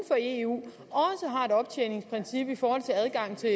for eu har et optjeningsprincip i forhold til adgang til